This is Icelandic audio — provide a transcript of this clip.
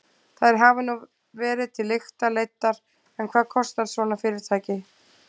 Þær hafa nú verið til lykta leiddar en hvað kostar svona fyrirtæki?